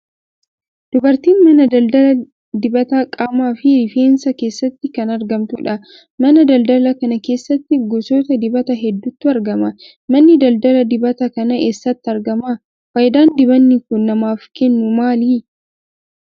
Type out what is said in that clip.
Dubartiin mana daldaala dibata qaamaa fi riffeensaa keessatti kan argamtudha. Mana daldaalaa kana keessatti gosoota dibataa hedduutu argama. Manni daldaala dibata kanaa eessatti argama? Faayidaan dibanni kun namaaf kennu maali?